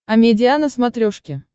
амедиа на смотрешке